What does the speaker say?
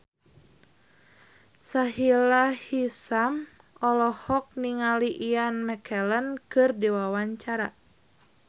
Sahila Hisyam olohok ningali Ian McKellen keur diwawancara